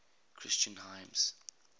christian hymns